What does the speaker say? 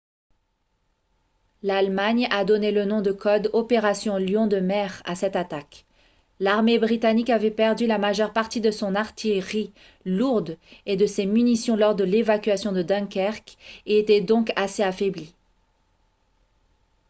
l’allemagne a donné le nom de code « opération lion de mer » à cette attaque. l’armée britannique avait perdu la majeure partie de son artillerie lourde et de ses munitions lors de l’évacuation de dunkerque et était donc assez affaiblie